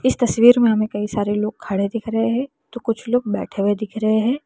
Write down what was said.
इस तस्वीर में हमें कई सारे लोग खड़े दिख रहे हैं तो कुछ लोग बैठे हुए दिख रहे हैं।